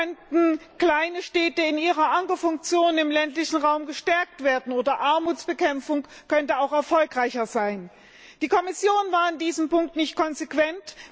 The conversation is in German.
So könnten kleine Städte in ihrer Ankerfunktion im ländlichen Raum gestärkt werden, oder auch Armutsbekämpfung könnte erfolgreicher sein. Die Kommission war in diesem Punkt nicht konsequent.